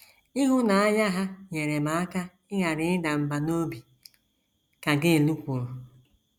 “ Ịhụnanya ha nyeere m aka ịghara ịda mbà n’obi, ” ka Gail kwuru.